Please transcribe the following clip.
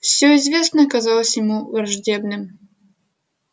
все неизвестное казалось ему враждебным